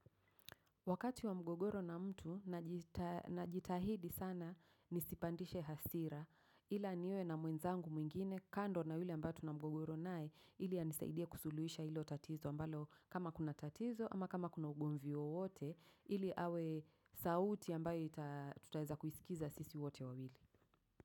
Wakati wa mgogoro na mtu na jitahidi sana nisipandishe hasira ila niwe na mwenzangu mwingine kando na hile ambatu na mgogoro nae ili ya nisaidia kusuluisha ilo tatizo ambalo kama kuna tatizo ama kama kuna ugumvi wowote ili awe sauti ambayo itatutaeza kuisikiza sisi wote wawili.